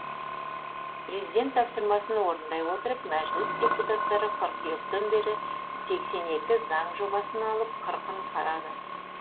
президент тапсырмасын орындай отырып мәжіліс депутаттары қыркүйектен бері сексен екі заң жобасын алып қырқын қарады